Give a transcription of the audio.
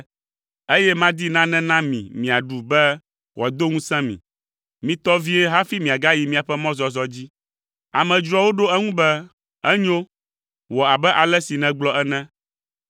eye madi nane na mi miaɖu be wòado ŋusẽ mi. Mitɔ vie hafi miagayi miaƒe mɔzɔzɔ dzi.” Amedzroawo ɖo eŋu be, “Enyo; wɔ abe ale si nègblɔ ene.”